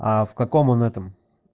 а в каком он этом